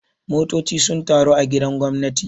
Motoci sun taru a gidan gwamnati.